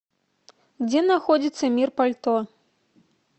где находится мир пальто